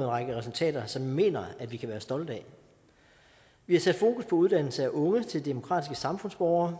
en række resultater som vi mener at vi kan være stolte af vi har sat fokus på uddannelse af unge til demokratiske samfundsborgere